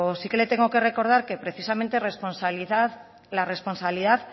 sí que le tengo que recordar que precisamente la responsabilidad